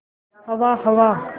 हवा हवा